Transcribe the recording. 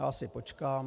Já si počkám.